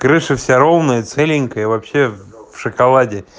крыша вся ровная целенькая и вообще в шоколаде